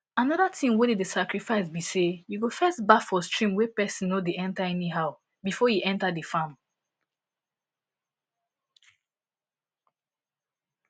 another thing wey dey the sacrifice be say you go first baff for stream wey person no dey enter anyhow before e enter the farm